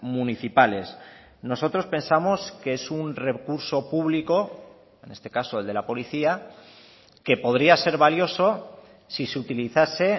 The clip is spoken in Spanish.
municipales nosotros pensamos que es un recurso público en este caso el de la policía que podría ser valioso si se utilizase